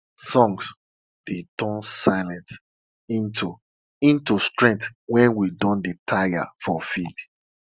songs dey turn silence into into strength wen we don dey tire for field